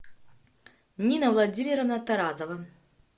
нина владимировна тарасова